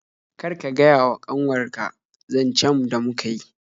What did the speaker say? Kar ka gaya wa kanwar ka zancen da muka yi